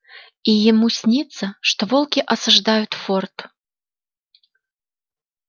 и ему снится что волки осаждают форт